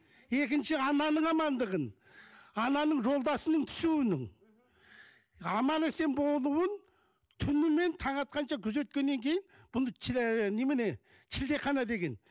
екінші ананың амандығын ананың жолдасының түсуінің аман есен болуын түнімен таң атқанша күзеткеннен кейін бұны ы немене шілдехана деген